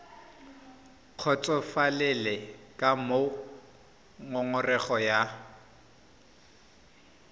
kgotsofalele ka moo ngongorego ya